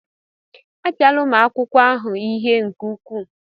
Apịala ụmụ akwụkwọ ahụ ihe nke ukwuu!